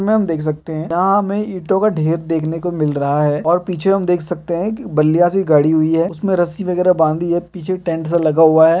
इसमें हम देख सकते हैं यहाँ हमें ईटों का ढेर देखने को मिल रहा है और पीछे हम देख सकते हैं कि बल्लियाँ सी गड़ी हुई है उसमें रस्सी वगैरह बंधी है पीछे टेंट सा लगा हुआ है।